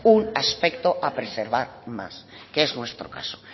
un aspecto a preservar más que es nuestro caso